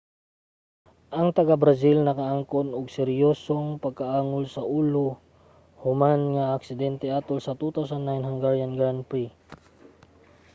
ang taga-brazil nakaangkon og seryosong pagkaangol sa ulo human sa aksidente atol sa 2009 hungarian grand prix